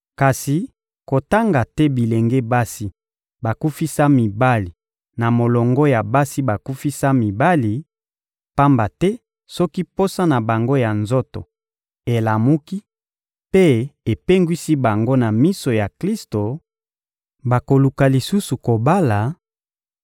Kasi kotanga te bilenge basi bakufisa mibali na molongo ya basi bakufisa mibali; pamba te soki posa na bango ya nzoto elamuki mpe epengwisi bango na miso ya Klisto, bakoluka lisusu kobala,